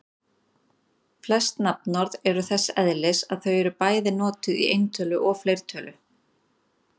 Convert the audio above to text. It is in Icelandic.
Flest nafnorð eru þess eðlis að þau eru bæði notuð í eintölu og fleirtölu.